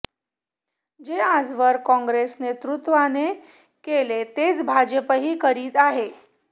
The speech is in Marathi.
जे आजवर काँग्रेस नेतृत्वाने केले तेच भाजपही करीत आहे